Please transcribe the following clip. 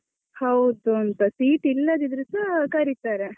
ಹೌದು ಅಂತ, seat ಇಲ್ಲದಿದ್ರೆಸಾ ಕರೀತಾರೆ.